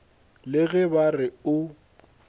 le ge ba re o